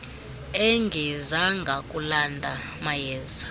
engezanga kulanda mayeza